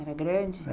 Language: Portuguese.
Era grande?